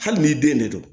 Hali n'i den ne don